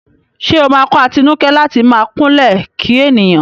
Ṣé ó máa kọ́ Atinúkẹ́ láti máa kúnlẹ̀ kí ènìyàn?